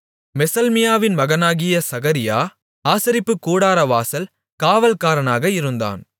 மெசெல்மியாவின் மகனாகிய சகரியா ஆசரிப்புக் கூடாரவாசல் காவல்காரனாக இருந்தான்